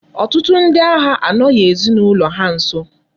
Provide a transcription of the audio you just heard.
Otutu ndi agha anoghi ezinaulo ha nso